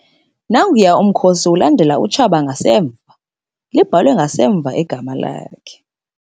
Nanguya umkhosi ulandela utshaba ngasemva. libhalwe ngasemva igama lakhe